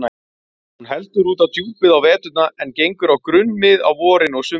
Hún heldur út á djúpið á veturna en gengur á grunnmið á vorin og sumrin.